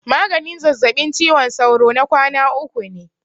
Maganin zazzabin ciwon sauro na kwana uku ne.